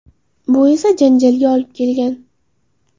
Bu esa janjalga olib kelgan.